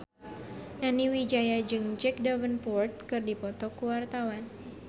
Nani Wijaya jeung Jack Davenport keur dipoto ku wartawan